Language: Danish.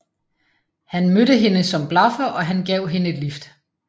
Han mødte hende som blaffer og han gav hende et lift